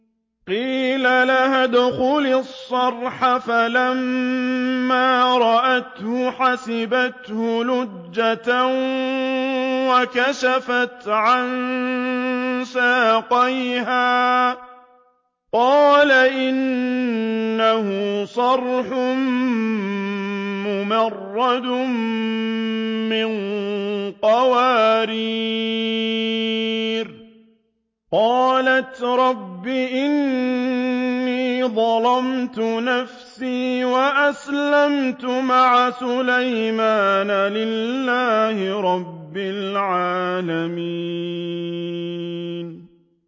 قِيلَ لَهَا ادْخُلِي الصَّرْحَ ۖ فَلَمَّا رَأَتْهُ حَسِبَتْهُ لُجَّةً وَكَشَفَتْ عَن سَاقَيْهَا ۚ قَالَ إِنَّهُ صَرْحٌ مُّمَرَّدٌ مِّن قَوَارِيرَ ۗ قَالَتْ رَبِّ إِنِّي ظَلَمْتُ نَفْسِي وَأَسْلَمْتُ مَعَ سُلَيْمَانَ لِلَّهِ رَبِّ الْعَالَمِينَ